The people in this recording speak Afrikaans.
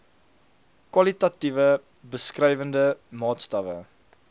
kwalitatiewe beskrywende maatstawwe